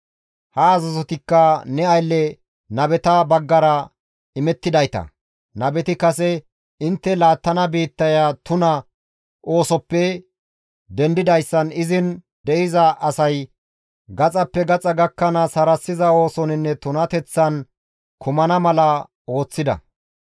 Ha azazotikka ne aylle nabeta baggara imettidayta; nabeti kase, ‹Intte laattana biittaya tuna oosoppe dendidayssan izin de7iza asay gaxappe gaxa gakkanaas harassiza oosoninne tunateththan kumana mala ooththida.